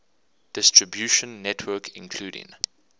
distribution network including